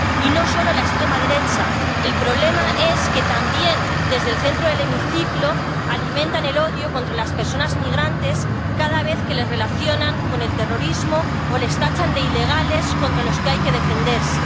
Y no solo la extrema derecha, el problema es que también desde el centro del hemiciclo alimentan el odio contra las personas migrantes, cada vez que les relacionan con el terrorismo o les tachan de ilegales contra los que hay que defenderse.